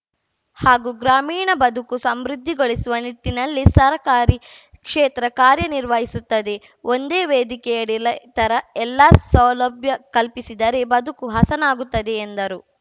ಹಾಗೂ ಗ್ರಾಮೀಣ ಬದುಕು ಸಮೃದ್ಧಿಗೊಳಿಸುವ ನಿಟ್ಟಿನಲ್ಲಿ ಸರಕಾರಿ ಕ್ಷೇತ್ರ ಕಾರ್ಯ ನಿರ್ವಹಿಸುತ್ತದೆ ಒಂದೇ ವೇದಿಕೆಯಡಿ ಲೈತರ ಎಲ್ಲಾ ಸೌಲಭ್ಯ ಕಲ್ಪಿಸಿದರೆ ಬದುಕು ಹಸನಾಗುತ್ತದೆ ಎಂದರು